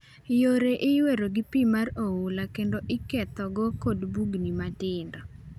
Yore iywero gi pi mar oula kendo ikethogi kod bugni matindo.